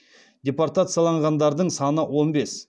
депортацияланғандардың саны он бес